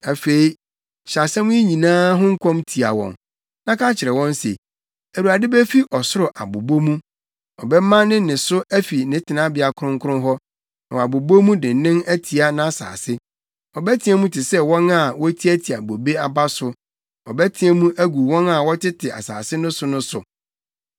“Afei hyɛ nsɛm yi nyinaa ho nkɔm tia wɔn, na ka kyerɛ wɔn se, “‘ Awurade befi ɔsoro abobɔ mu; ɔbɛma ne nne so afi ne tenabea kronkron hɔ, na wabobɔ mu dennen atia nʼasase. Ɔbɛteɛ mu te sɛ wɔn a wotiatia bobe aba so, ɔbɛteɛ mu agu wɔn a wɔtete asase no so no so.